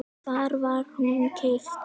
Hvar var hún keypt?